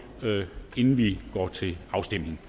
inden vi går til afstemning